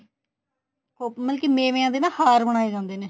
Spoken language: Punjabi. ਉਹ ਮਤਲਬ ਕੀ ਮੇਵੇਆਂ ਦੇ ਨਾ ਹਾਰ ਬਨਾਏ ਜਾਂਦੇ ਨੇ